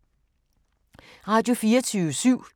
Radio24syv